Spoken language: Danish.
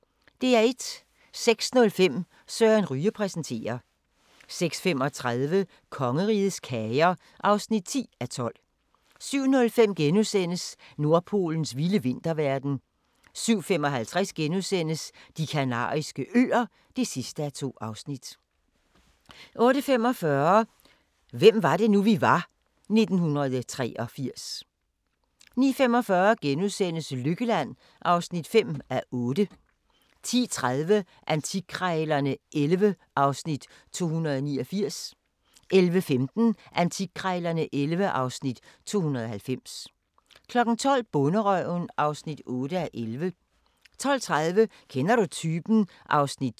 06:05: Søren Ryge præsenterer 06:35: Kongerigets kager (10:12) 07:05: Nordpolens vilde vinterverden * 07:55: De Kanariske Øer (2:2)* 08:45: Hvem var det nu, vi var? - 1983 09:45: Lykkeland (5:8)* 10:30: Antikkrejlerne XI (Afs. 289) 11:15: Antikkrejlerne XI (Afs. 290) 12:00: Bonderøven (8:11) 12:30: Kender du typen? (2:9)